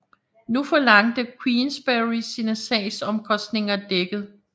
Nu forlangte Queensberry sine sagsomkostninger dækket